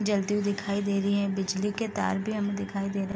जलती हुई दिखाई दे रही है बिजली के तार भी हमें दिखाई दे रहे हैं |